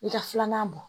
I ka filanan bɔ